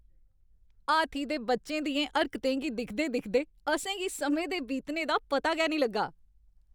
हाथी दे बच्चे दियें हरकतें गी दिखदे दिखदे असें गी समें दे बीतने दा पता गै निं लग्गा।